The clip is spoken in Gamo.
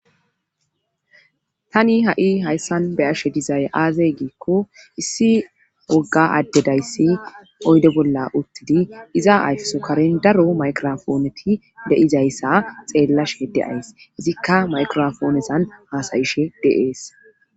tani ha7i hayssan be ashe dizay aazey giikko issi wogga addedayssi oyde bolla uttidi iza ayfeso karen daro maykirofooneti de7izayssa xeellasheede ays izikka maykirofoonesan haasayishe deees